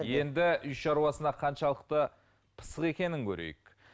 енді үй шаруасына қаншалықты пысық екенін көрейік